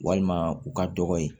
Walima u ka dɔgɔ ye